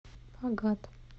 агат